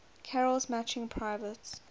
carol's matching private